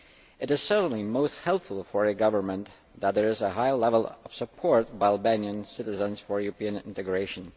It is certainly most helpful for the government that there is a high level of support by Albanian citizens for European integration.